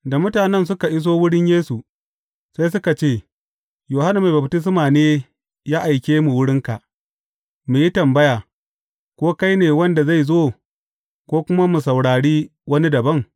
Da mutanen suka iso wurin Yesu, sai suka ce, Yohanna Mai Baftisma ne ya aike mu wurinka, mu yi tambaya, Ko kai ne wanda zai zo, ko kuma mu saurari wani dabam?’